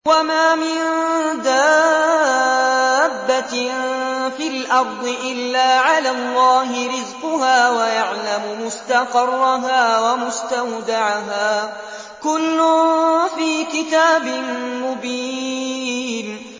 ۞ وَمَا مِن دَابَّةٍ فِي الْأَرْضِ إِلَّا عَلَى اللَّهِ رِزْقُهَا وَيَعْلَمُ مُسْتَقَرَّهَا وَمُسْتَوْدَعَهَا ۚ كُلٌّ فِي كِتَابٍ مُّبِينٍ